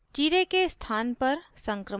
चीरे के स्थान पर संक्रमण और